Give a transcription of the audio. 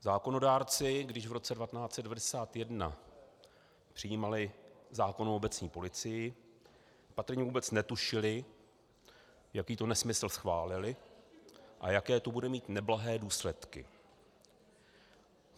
Zákonodárci, když v roce 1991 přijímali zákon o obecní policii, patrně vůbec netušili, jaký to nesmysl schválili a jaké to bude mít neblahé důsledky.